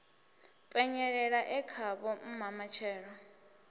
penyelela e khavho mma matshelo